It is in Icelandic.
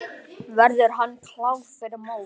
Verður hann klár fyrir mót?